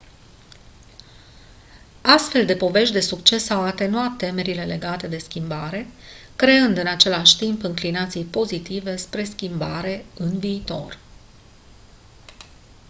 astfel de povești de succes au atenuat temerile legate de schimbare creând în același timp înclinații pozitive spre schimbare în viitor